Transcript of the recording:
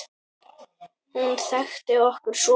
Hún þekkti okkur svo vel.